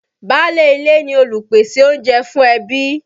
Báálé ilé ni olùpèsè oúnjẹ fún ẹbí.